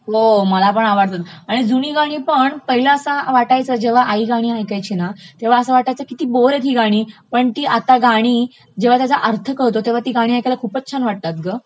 हो मलापण आवडतात, आणि जुनी गाणीपण पहिले असं वाटायचं जेव्हा आई गाणी ऐकायची ना, तेव्हा असं वाटायचं किती बोर ही आहेत ही गाणी, पण ती आता गाणी जेव्हा त्याचा अर्थ कळतो तेव्हा ती गाणी ऐकायला खूपचं छान वाटतात ग